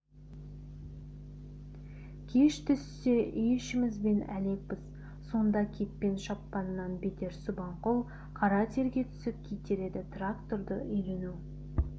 кеш түссе үй-ішімізбен әлекпіз сонда кетпен шапқаннан бетер субанқұл қара терге түсіп кетер еді тракторды үйрену